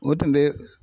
O tun bɛ